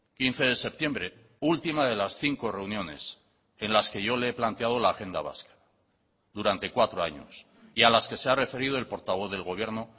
quince de septiembre última de las cinco reuniones en las que yo le he planteado la agenda vasca durante cuatro años y a las que se ha referido el portavoz del gobierno